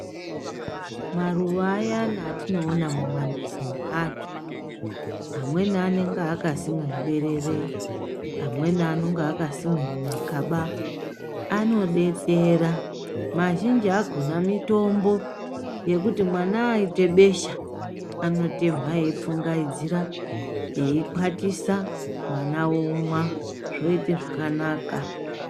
Maruwa ayani atinoona mumamizi meandu , amweni anonga akasimwa muberere, amweni anonga akasimwe mumakaba anodetsera , mazhinji akona mitombo yekuti mwana akaite besha anotemha eipfungaidzira , eikwatisa mwana omwa zvoite zvakanaka.